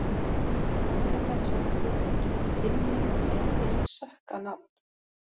Gælunafn sem þú þolir ekki: Binni er eitt sökkað nafn